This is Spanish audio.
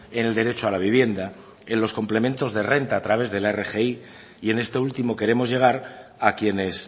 en el derecho a la vivienda en los complementos de renta a través de la rgi y en este último queremos llegar a quienes